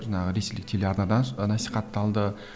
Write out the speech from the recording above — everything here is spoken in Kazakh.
жаңағы ресейлік телеарнадан насихатталды